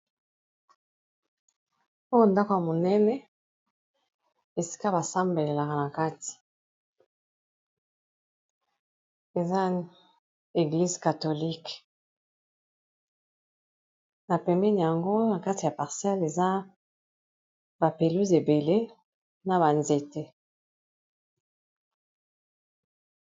Oyo ndako ya monene esika basambelelaka na kati eza eglize catholique na pembeni yango na kati ya parcelle eza ba pelouse ebele na ba nzete.